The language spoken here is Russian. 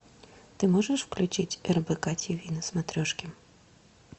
ты можешь включить рбк тв на смотрешке